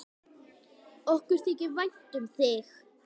Okkur þykir vænt um þig.